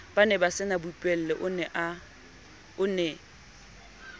ba nebasena boipuello o ne